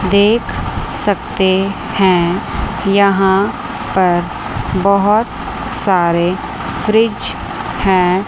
देख सकते हैं। यहां पर बहोत सारे फ्रिज हैं।